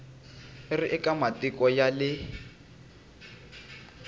ri eka matiko ya le